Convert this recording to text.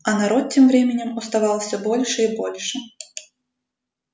а народ тем временем уставал всё больше и больше